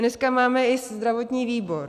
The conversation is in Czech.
Dneska máme i zdravotní výbor.